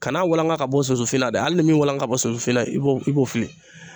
Kana walanga ka bɔ sunsunfin na de hali ni min walangala ka bɔ sunsunfin na i b'o i b'o fili